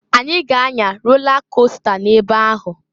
Anyị ga anya rola costa n'ebe ahụ.